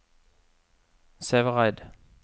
Sævareid